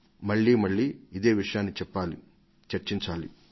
మళ్లీమళ్లీ ఇదే విషయాన్ని చెప్పాలి చర్చించాలి